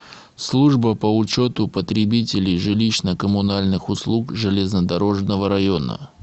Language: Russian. служба по учету потребителей жилищно коммунальных услуг железнодорожного района